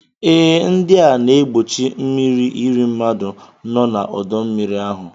E, ndị na-egbochi mmírí irí mmadụ nọ na ọdọ mmiri ahu